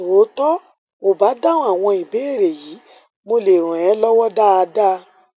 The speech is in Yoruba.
tó tó o bá dáhùn àwọn ìbéèrè yìí mo lè ràn é lọwọ dáadáa